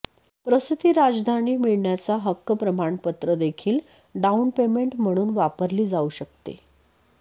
प्रसूती राजधानी मिळण्याचा हक्क प्रमाणपत्र देखील डाऊन पेमेंट म्हणून वापरली जाऊ शकते